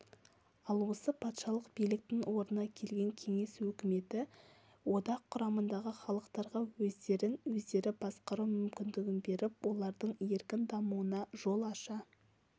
ал осы патшалық биліктің орнына келген кеңес өкіметі одақ құрамындағы халықтарға өздерін өздері басқару мүмкіндігін беріп олардың еркін дамуына жол аша